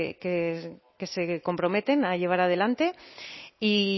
que se comprometen a llevar adelante y